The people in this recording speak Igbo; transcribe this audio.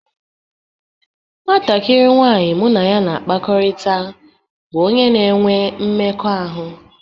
Nwatakịrị nwanyị mụ na ya na-akpakọrịta bụ onye na-enwe mmekọahụ